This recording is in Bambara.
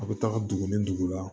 A bɛ taga dugu ni dugu la